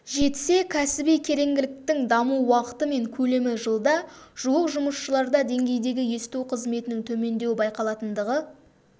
жетсе кәсіби кереңділіктің даму уақыты мен көлемі жылда жуық жұмысшыларда деңгейдегі есту қызметінің төмендеуі байқалатындығы